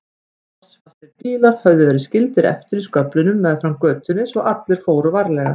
Klossfastir bílar höfðu verið skildir eftir í sköflunum meðfram götunni svo allir fóru varlega.